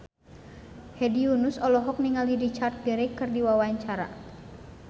Hedi Yunus olohok ningali Richard Gere keur diwawancara